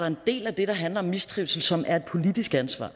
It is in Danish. en del af det der handler om mistrivsel som er et politisk ansvar